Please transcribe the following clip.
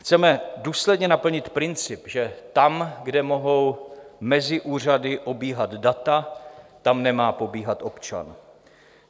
Chceme důsledně naplnit princip, že tam, kde mohou mezi úřady obíhat data, tam nemá pobíhat občan.